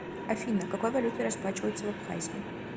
афина какой валютой расплачиваются в абхазии